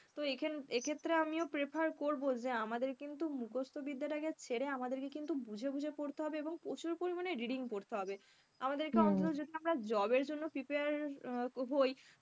তো এক্ষেত্রে আমিও prefer করবো যে আমাদের কিন্তু মুখস্ত বিদ্যাটাকে ছেড়ে আমাদেরকে কিন্তু বুঝে বুঝে পড়তে হবে এবং প্রচুর পরিমাণে reading পড়তে হবে। আমাদেরকে অন্তত যদি আমরা job এর জন্য prepare হই,